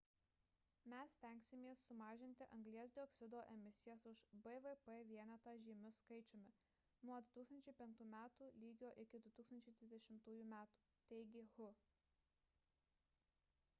mes stengsimės sumažinti anglies dioksido emisijas už bvp vienetą žymiu skaičiumi nuo 2005 m lygio iki 2020 m – teigė hu